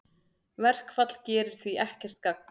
Verkfall gerir því ekkert gagn